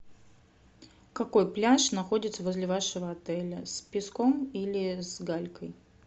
какой пляж находится возле вашего отеля с песком или с галькой